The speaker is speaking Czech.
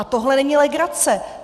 A tohle není legrace!